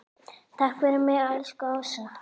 Takk fyrir mig, elsku Ása.